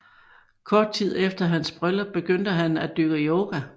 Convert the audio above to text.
Kort tid efter hans bryllup begyndte han at dyrke yoga